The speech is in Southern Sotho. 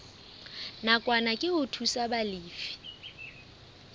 nakwana ke ho thusa balefi